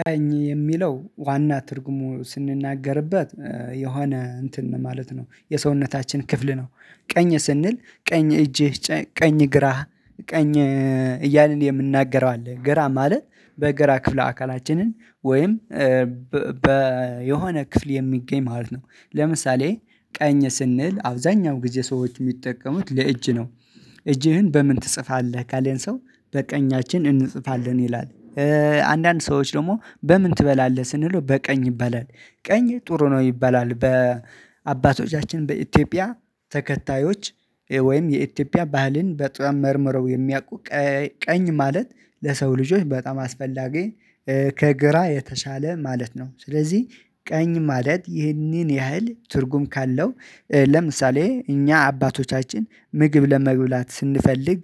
ቀኝ የሚለው ዋና ትርጉሙ ስንናገርበት የሆነ እንትን ማለት ነው የሰውነታችን ክፍል ነው። ቀኝ ስንል ቀኝ እጅህ፣ ቀኝ፣ ግራህ፣ ቀኝ እያልን የምናገረው አለ። ግራ ማለት በግራ ክፍለ አካላችንን ወይም በ በ የሆነ ክፍል የሚገኝ ማለት ነው። ለምሳሌ ቀኝ ስንል አብዛኛው ጊዜ ሰዎች የሚጠቀሙት ለእጅ ነው። እጅህን በምን ትጽፋለህ ካለን ሰው? በቀኛችን እንጽፋለን ይላል። አንዳንድ ሰዎች ደግሞ በምን ትበላለህ ስንለው በቀኝ ይባላል። ቀኝ ጥሩ ነው ይባላል በአባቶቻችን በኢትዮጵያ ተከታዮች ወይም የኢትዮጵያ ባህልን በጣም መርምረው የሚያውቁ ቀኝ ማለት ለሰው ልጆች በጣም አስፈላጊ፣ ከግራ የተሻለ ማለት ነው። ስለዚህ ቀኝ ማለት ይህንን ያህል ትርጉም ካለው ለምሳሌ እኛ አባቶቻችን ምግብ ለመግብላት ስንፈልግ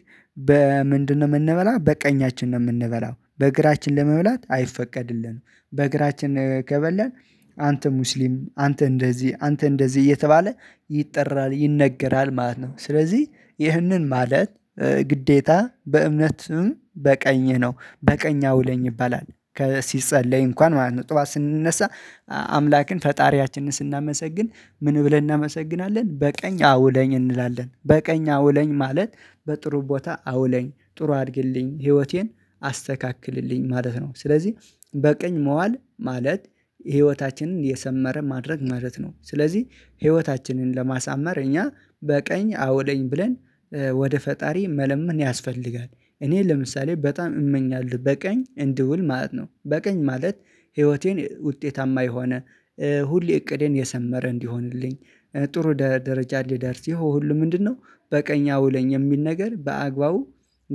በምንድነው የምንበላው? በቀኛችን ነው የምንበላው። በግራችን ለመብላት አይፈቀድልንም። በግራችን ከበላን አንተ ሙስሊም፣ አንተ እንደዚህ፣ አንተ እንደዚህ፣ እየተባለ ይጠራል ይነገራል ማለት ነው። ስለዚህ ይህንን ማለት ግዴታ በእምነትም፣ በቀኝህ ነው፤ በቀኝ አውለኝ ይባላል። ሲጸለይ እንኳን ማለት ነው። ጠዋት ስንነሳ አምላክን ፈጣሪያችንን ስናመሰግን ምን ብለን እናመሰግናለን? በቀኝ አውለኝ እንላለን። በቀኝ አውለኝ ማለት በጥሩ ቦታ አውለኝ፣ ጥሩ አድግልኝ፣ ህይወቴን አስተካክልልኝ ማለት ነው። ስለዚህ በቅኝ መዋል ማለት ህይወታችንን የሰመረ ማድረግ ማለት ነው። ስለዚህ ህይወታችንን ለማሳመር እኛ በቀኝ አውለኝ ብለን። ወደ ፈጣሪ መለመን ያስፈልጋል። እኔ ለምሳሌ በጣም እመኛለሁ በቀኝ እንድውል ማለት ነው። በቀኝ ማለት ህይወቴን ውጤታማ የሆነ፣ ሁሌ እቅዴ የሰመረ እንዲሆንልኝ፣ ጥሩ ደረጃ ልደርስ፣ ይኸው ሁሉ ምንድነው? በቀኝ አውለኝ የሚል ነገር በአግባቡ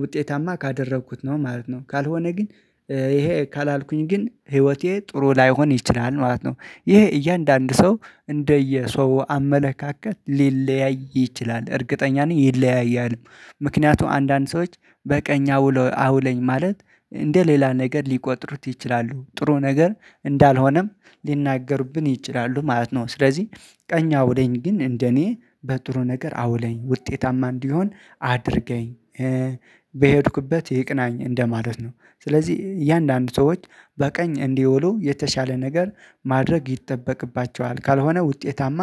ውጤታማ ካደረኩት ነው ማለት ነው። ካልሆነ ግን ይሄ ካላልኩኝ ግን ህይወቴ ጥሩ ላይሆን ይችላል ማለት ነው። ይሄ እያንዳንዱ ሰው እንደየ ሰው አመለካከት ሊለያይ ይችላል። እርግጠኛ ነኝ ይለያያል። ምክንያቱም አንዳንድ ሰዎች በቀኝ አውለኝ ማለት እንደ ሌላ ነገር ሊቆጥሩት ይችላሉ። ጥሩ ነገር እንዳልሆነም ሊናገርብን ይችላሉ ማለት ነው። ስለዚህ ቀኝ አውለኝ ግን እንደኔ በጥሩ ነገር አውለኝ፣ ውጤታማ እንዲሆን አድርገኝ፣ በሄድኩበት ይቅናኝ እንደማለት ነው። ስለዚህ እያንዳንዱ ሰዎች በቀኝ እንዲውሉ የተሻለ ነገር ማድረግ ይጠበቅባቸዋል። ካልሆነ ውጤታማ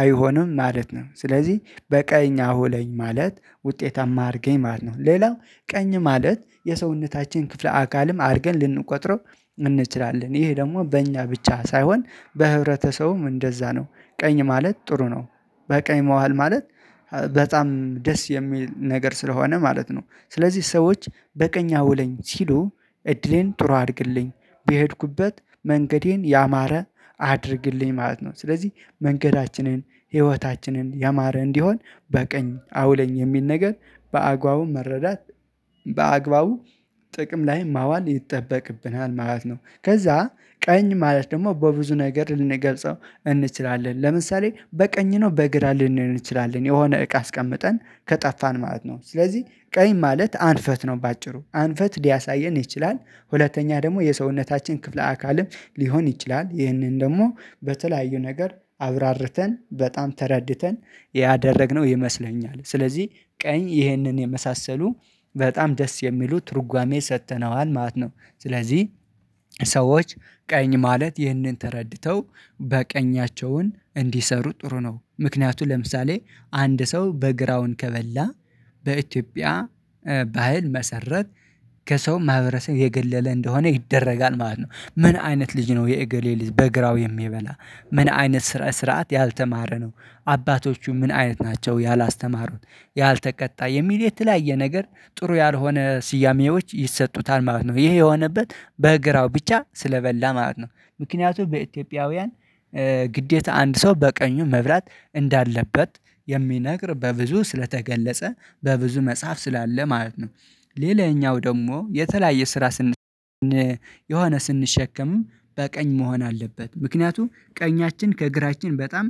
አይሆንም ማለት ነው። ስለዚህ በቀኝ አሁለኝ ማለት ውጤታማ አድርገኝ ማለት ነው። ሌላው ቀኝ ማለት የሰውነታችን ክፍለ አካልም አድርገን ልንቆጥረው እንችላለን። ይሄ ደግሞ በእኛ ብቻ ሳይሆን በህብረተሰቡም እንደዛ ነው። ቀኝ ማለት ጥሩ ነው፣ በቀኝ መዋል ማለት በጣም ደስ የሚል ነገር ስለሆነ ማለት ነው። ስለዚህ ሰዎች በቀኝ አውለኝ ሲሉ እድሌን ጥሩ አድርግልኝ፣ በሄድኩበት መንገዴን ያማረ አድርግልኝ ማለት ነው። ስለዚህ መንገዳችንን፣ ህይወታችንን ያማረ እንዲሆን በቀኝ አውለኝ የሚል ነገር በአግባቡ መረዳት በአግባቡ ጥቅም ላይ ማዋል ይጠበቅብናል ማለት ነው። ከዛ ቀኝ ማለት ደግሞ በብዙ ነገር ልንገልጸው እንችላለን። ለምሳሌ በቀኝ ነው በእግር ልንል እንችላለን የሆነ እቃ አስቀምጠን ከጠፋን ማለት ነው። ስለዚህ ቀኝ ማለት አንፈት ነው በአጭሩ። አንፈት ሊያሳየን ይችላል፣ ሁለተኛ ደግሞ የሰውነታችን ክፍለ አካልም ሊሆን ይችላል። ይህንን ደግሞ በተለያዩ ነገር አብራርተን በጣም ተረድተን ያደረግነው ይመስለኛል። ስለዚህ ቀኝ ይህንን የመሳሰሉ በጣም ደስ የሚሉ ትርጓሜ ሰጥተነዋል ማለት ነው። ስለዚህ ሰዎች ቀኝ ማለት ይህንን ተረድተው በቀኛቸውን እንዲሰሩ ጥሩ ነው። ምክንያቱም ለምሳሌ አንድ ሰው በግራውን ከበላ በኢትዮጵያ ባህል መሰረት ከሰው ማህበረሰብ የገለለ እንደሆነ ይደረጋል ማለት ነው። ምን አይነት ልጅ ነው የእግር የልጅ በግራው የሚበላ ምን አይነት ስርዓት ያልተማረ ነው? አባቶቹ ምን አይነት ናቸው ያላስተማሩት፣ ያልተቀጣ? የሚል የተለያየ ነገር ጥሩ ያልሆነ ስያሜዎች ይሰጡታል ማለት ነው። ይሄ የሆነበት በግራው ብቻ ስለበላ ማለት ነው። ምክንያቱም በኢትዮጵያውያን ግዴታ አንድ ሰው በቀኙ መብላት እንዳለበት የሚነግር በብዙ ስለተገለጸ፣ በብዙ መጽሐፍ ስላለ ማለት ነው። ሌላኛው ደግሞ የተለያየ ስራ ስን የሆነ ስንሸከምም በቀኝ መሆን አለበት። ምክንያቱም ቀኛችን ከግራችን በጣም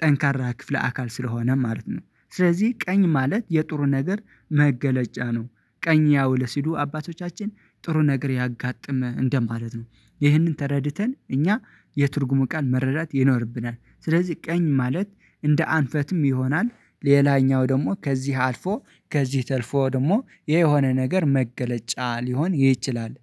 ጠንካራ ክፍለ አካል ስለሆነ ማለት ነው። ስለዚህ ቀኝ ማለት የጥሩ ነገር መገለጫ ነው። ቀኝ ያውል ስሉ አባቶቻችን ጥሩ ነገር ያጋጥመህ እንደማለት ነው። ይህንን ተረድተን እኛ የትርጉሙ ቃል መረዳት ይኖርብናል። ስለዚህ ቀኝ ማለት እንደ አንፈትም ይሆናል። ሌላኛው ደግሞ ከዚህ አልፎ ከዚህ ተርፎ ደግሞ የሆነ ነገር መገለጫ ሊሆን ይችላል።